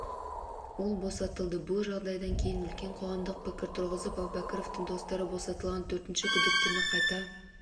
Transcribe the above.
ол босатылды бұл жағдай кейін үлкен қоғамдық пікір туғызып әубәкіровтың достары босатылған төртінші күдіктіні қайта